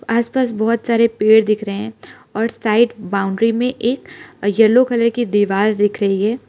आसपास बहोत सारे पेड़ दिख रहे हैं और साइड बाउंड्री में एक येलो कलर की दीवार दिख रही है।